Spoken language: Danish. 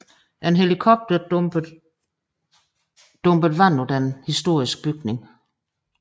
En helikopter dumpede vand på den historiske bygning